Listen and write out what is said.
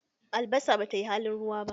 Albasa bata yi halin ruwa ba